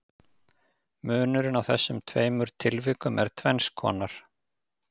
Munurinn á þessum tveimur tilvikum er tvenns konar.